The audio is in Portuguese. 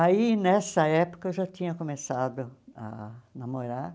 Aí, nessa época, eu já tinha começado a namorar.